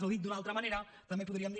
o dit d’una altra manera també podríem dir